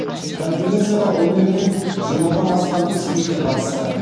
конференцияға он елден жиырмадан астам спикер қатысты